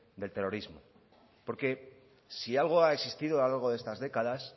del terrorismo porque si algo ha existido a lo largo de estas décadas